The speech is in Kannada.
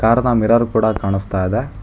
ಕಾರದ ಮಿರರ್ ಕೂಡ ಕಾಣಸ್ತಾ ಇದೆ.